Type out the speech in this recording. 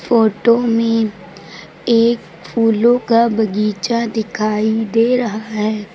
Photo में एक फूलों का बगीचा दिखाई दे रहा है।